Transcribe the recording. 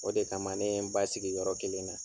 O de kama ne ye n basigi yɔrɔ kelen na.